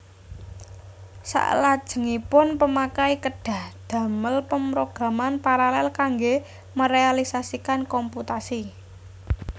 Saklajengipun pemakai kedhah ndamel pemrograman paralel kangge merealisasikan komputasi